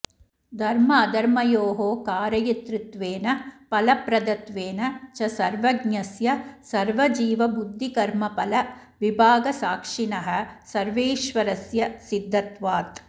धर्माधर्मयोः कारयितृत्वेन फलप्रदत्वेन च सर्वज्ञस्य सर्वजीवबुद्धिकर्मफल विभागसाक्षिणः सर्वेश्वरस्य सिद्धत्वात्